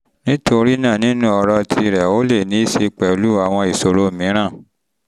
nítorí náà nínú ọ̀rọ̀ tìrẹ um ó lè ní um í ṣe pẹ̀lú àwọn ìṣòro um mìíràn